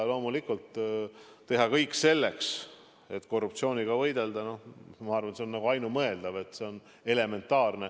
Loomulikult, see, et teha kõik selleks, et korruptsiooniga võidelda, ma arvan, on ainumõeldav, elementaarne.